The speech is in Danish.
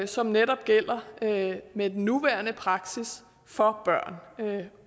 som netop gælder med den nuværende praksis for børn og det